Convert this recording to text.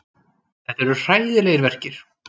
Þetta eru hræðilegir verkir.